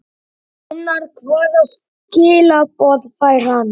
Gunnar: Hvaða skilaboð fær hann?